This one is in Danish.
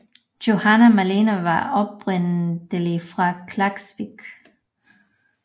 Johanna Malena var oprindelig fra Klaksvík